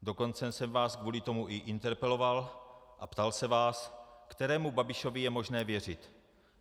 Dokonce jsem vás kvůli tomu i interpeloval a ptal se vás, kterému Babišovi je možné věřit.